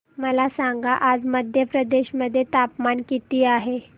मला सांगा आज मध्य प्रदेश मध्ये तापमान किती आहे